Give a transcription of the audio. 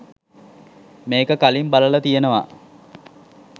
මේක කලින් බලල තියෙනව